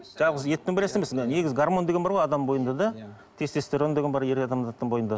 жалғыз еттің негізі гармон деген бар ғой адамның бойында да тестестерон деген бар ер адамдардың бойында